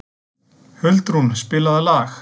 Huldrún, spilaðu lag.